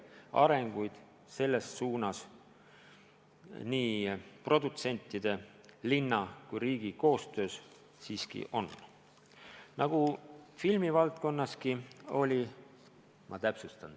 Arenguid selles suunas nii produtsentide, Tallinna kui ka riigi koostöös siiski on.